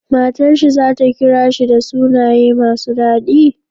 Matar shi zata kira shi da sunaye masu dadi?